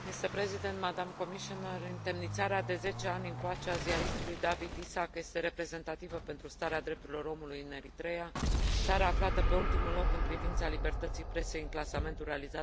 Întemnițarea de 10 ani încoace a ziaristului Dawit Isaak este reprezentativă pentru starea drepturilor omului în Eritreea, țară aflată pe ultimul loc în privința libertății presei în clasamentul realizat de Reporteri fără Frontiere.